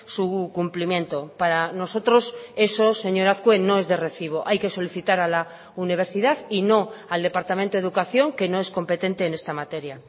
su cumplimiento para nosotros eso señor azkue no es de recibo hay que solicitar a la universidad y no al departamento de educación que no es competente en esta materia